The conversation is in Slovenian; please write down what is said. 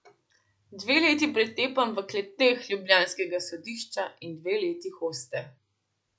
Dve leti pretepanj v kleteh ljubljanskega sodišča in dve leti hoste.